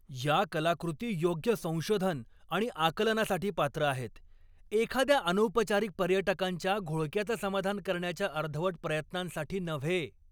या कलाकृती योग्य संशोधन आणि आकलनासाठी पात्र आहेत, एखाद्या अनौपचारिक पर्यटकांच्या घोळक्याचं समाधान करण्याच्या अर्धवट प्रयत्नांसाठी नव्हे.